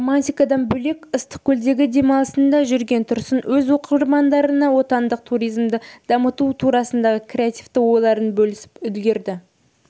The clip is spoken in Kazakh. романтикадан бөлек ыстықкөлдегі демалысында жүргенде тұрсын өз оқырмандарына отандық туризмді дамыту турасындағы креативті ойларын бөлісіп үлгерді